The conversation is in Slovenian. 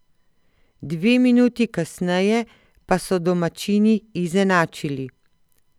Dve minuti kasneje pa so domačini izenačili.